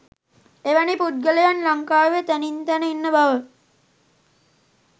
එවැනි පුද්ගලයන් ලංකාවේ තැනින් තැන ඉන්න බව